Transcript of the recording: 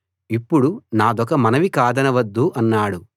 ఇప్పుడు నాదొక మనవి కాదనవద్దు అన్నాడు